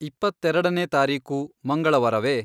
ಇಪ್ಪತ್ತೆರಡನೇ ತಾರೀಕು ಮಂಗಳವಾರವೇ